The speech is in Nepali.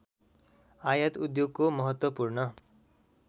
आयात उद्योगको महत्त्वपूर्ण